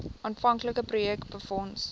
aanvanklike projek befonds